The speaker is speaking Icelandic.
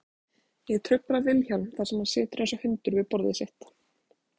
Ég trufla Vilhjálm þar sem hann situr einsog hundur við borðið sitt.